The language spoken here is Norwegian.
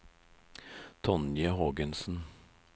Tonje Hågensen